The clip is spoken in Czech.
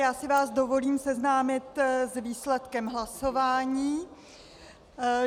Já si vás dovolím seznámit s výsledkem hlasování.